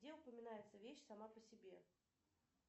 где упоминается вещь сама по себе